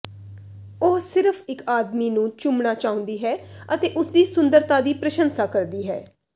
ਉਹ ਸਿਰਫ਼ ਇਕ ਆਦਮੀ ਨੂੰ ਚੁੰਮਣਾ ਚਾਹੁੰਦੀ ਹੈ ਅਤੇ ਉਸਦੀ ਸੁੰਦਰਤਾ ਦੀ ਪ੍ਰਸ਼ੰਸਾ ਕਰਦੀ ਹੈ